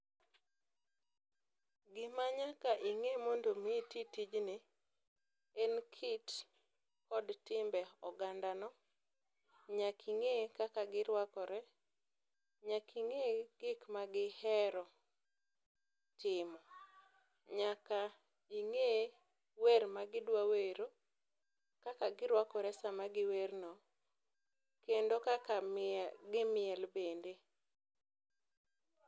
Gima nyaka ing'e mondo omi iti tijni, en kit, kod timbe ogandano. Nyaka ing'e kaka giruakore, nyaka ing'e gik magihero timo, nyaka ing'e wer magidwawero, kaka girwakore sama giwerno, kendo kaka gimiel bende.